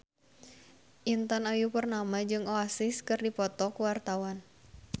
Intan Ayu Purnama jeung Oasis keur dipoto ku wartawan